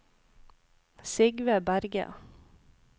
Sigve Berge